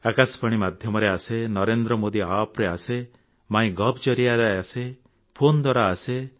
ଆକାଶବାଣୀ ମାଧ୍ୟମରେ ଆସେ ନରେନ୍ଦ୍ର ମୋଦି App ରେ ଆସେ ମାଇ ଗୋଭ୍ ଜରିଆରେ ଆସେ ଫୋନ ଦ୍ୱାରା ଆସେ